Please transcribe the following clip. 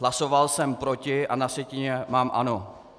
Hlasoval jsem proti a na sjetině mám ano.